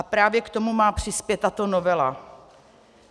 A právě k tomu má přispět tato novela.